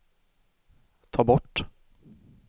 ta bort